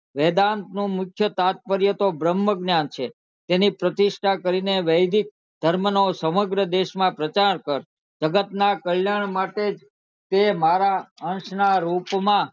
વેદાંત નું મુખ્ય તાત્પર્ય તો બ્રહ્મ જ્ઞાન છે તેની પ્રતિષ્ઠા કરી ને વૈદિક ધર્મ નો સમગ્ર દેશ માં પ્રચાર કર તે મારા અંશ ના રૂપ માં